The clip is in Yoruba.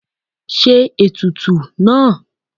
ṣe etùtù náá!